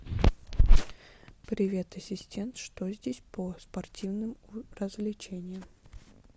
привет ассистент что здесь по спортивным развлечениям